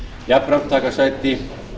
jafnframt taka sæti